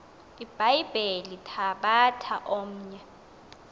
ibhayibhile thabatha omnye